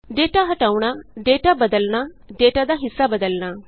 data ਹਟਾਉਣਾ data ਬਦਲਣਾ data ਦਾ ਹਿੱਸਾ ਬਦਲਣਾ